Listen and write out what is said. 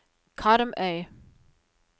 Karmøy